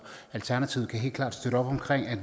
alternativet kan helt klart støtte op omkring at